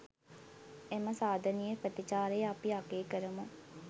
එම සාධනීය ප්‍රතිචාරය අපි අගය කරමු.